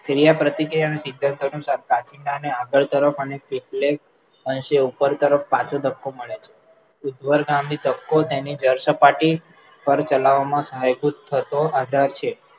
ક્રિયા-પ્રતિક્રિયાના સિદ્ધાંત અનુસાર કાંચીડાને આગળ તરફ અને કેટલેક તેને ઉપર તરફ પાછો ધક્કો મળે છે, ઉદ્ધર ગામની તપકો તેની જળસપાટી પર ચલાવવામાં સહાયભૂત થતો આધાર છે